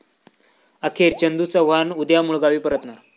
अखेर चंदू चव्हाण उद्या मुळगावी परतणार